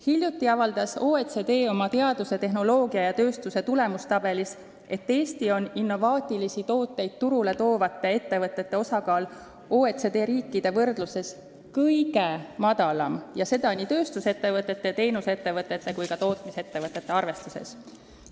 Hiljuti avaldas OECD oma teaduse, tehnoloogia ja tööstuse tulemuste tabelis, et Eestis on innovaatilisi tooteid turule toovate ettevõtete osakaal OECD riikide võrdluses kõige väiksem ja seda nii tööstusettevõtete, teenusettevõtete kui ka tootmisettevõtete arvestuses.